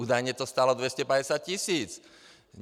Údajně to stálo 250 tisíc.